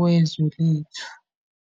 wezwe lethu.